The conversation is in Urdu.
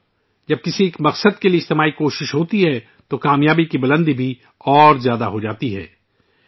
ساتھیو ، جب کسی مقصد کے لیے اجتماعی کوشش ہوتی ہے تو کامیابی کا درجہ بھی بلند ہوجاتا ہے